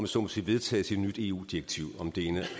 så må sige vedtages et nyt eu direktiv om det ene